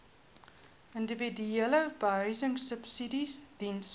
individuele behuisingsubsidies diens